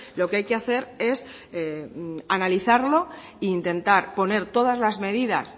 lo que hay que hacer es analizarlo e intentar poner todas las medidas